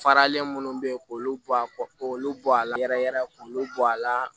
Faralen minnu be ye k'olu bɔ a kɔ k'olu bɔ a la yɛrɛ yɛrɛ k'olu bɔ a la